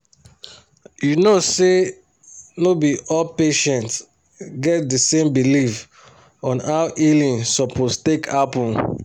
you know say no be all patients get the same belief on how healing suppose take happen